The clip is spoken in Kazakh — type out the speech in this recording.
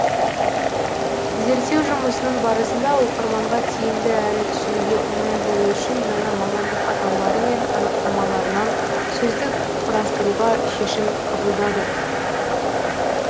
зерттеу жұмысының барысында оқырманға тиімді әрі түсінуге оңай болу үшін жаңа мамандық атаулары мен анықтамаларынан сөздік құрастыруға шешім қабылдадық